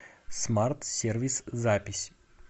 смарт сервис запись